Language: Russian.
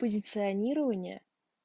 позиционирование